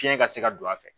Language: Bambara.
Fiɲɛ ka se ka don a fɛ